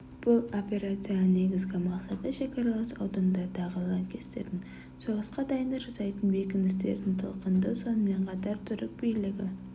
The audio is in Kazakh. бұл операцияның негізгі мақсаты шекаралас аудандардағы лаңкестердің соғысқа дайындық жасайтын бекіністерін талқандау сонымен қатар түрік билігі